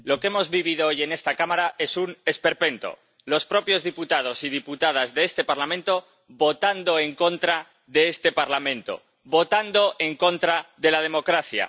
Señor presidente, lo que hemos vivido hoy en esta Cámara es un esperpento. Los propios diputados y diputadas a este Parlamento votando en contra de este Parlamento, votando en contra de la democracia.